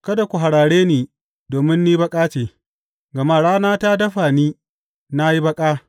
Kada ku harare ni domin ni baƙa ce, gama rana ta dafa ni na yi baƙa.